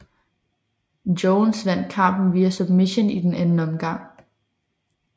Jones vandt kampen via submission i den anden omgang